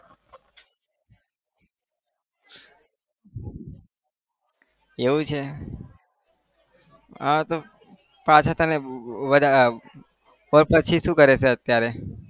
એવું છે હા તો પાછા તને તો પછી શું કરે છે અત્યારે